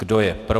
Kdo je pro?